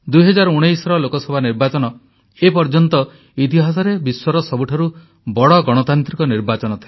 2019ର ଲୋକସଭା ନିର୍ବାଚନ ଏ ପର୍ଯ୍ୟନ୍ତ ଇତିହାସରେ ବିଶ୍ୱର ସବୁଠାରୁ ବଡ଼ ଗଣତାନ୍ତ୍ରିକ ନିର୍ବାଚନ ଥିଲା